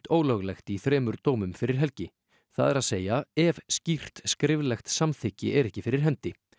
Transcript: ólöglegt í þremur dómum fyrir helgi það er að segja ef skýrt skriflegt samþykki er ekki fyrir hendi